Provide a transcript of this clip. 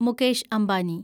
Mukesh Ambani